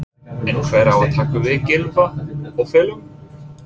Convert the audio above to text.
En hver á að taka við Gylfa og félögum?